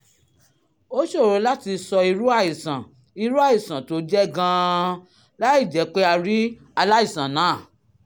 ó ṣòro láti sọ irú àìsàn irú àìsàn tó jẹ́ gan-an láìjẹ́ pé a rí aláìsàn náà